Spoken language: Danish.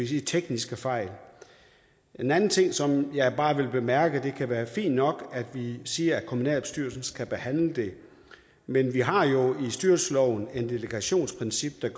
tekniske fejl en anden ting som jeg bare vil bemærke det kan være fint nok at vi siger at kommunalbestyrelsen skal behandle det men vi har jo i styrelsesloven et delegationsprincip der